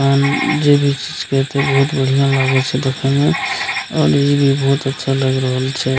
अ जे भी चीज के हेते बहुत बढ़ियाँ लागे छै देखे मे और इ भी बहुत अच्छा लग रहल छै।